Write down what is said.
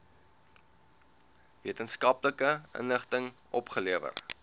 wetenskaplike inligting opgelewer